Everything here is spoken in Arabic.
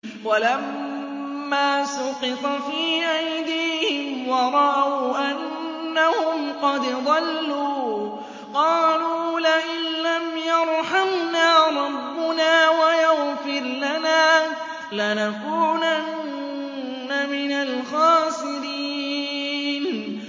وَلَمَّا سُقِطَ فِي أَيْدِيهِمْ وَرَأَوْا أَنَّهُمْ قَدْ ضَلُّوا قَالُوا لَئِن لَّمْ يَرْحَمْنَا رَبُّنَا وَيَغْفِرْ لَنَا لَنَكُونَنَّ مِنَ الْخَاسِرِينَ